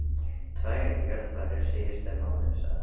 Tvær jarðarfarir síðustu mánuði, sagði hann.